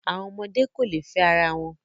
Àwọn ọmọdé kò lè fẹ́ ara wọn.